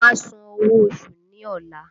Wọn a san owó oṣù ní ọla